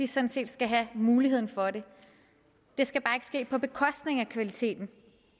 sådan set skal have muligheden for det det skal bare ikke ske på bekostning af kvaliteten